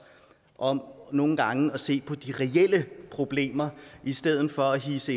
om nogle gange at se på de reelle problemer i stedet for at hidse